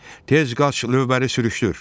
Tez qaç lövbəri sürüşdür.